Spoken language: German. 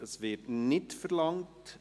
– Das Wort wird nicht verlangt.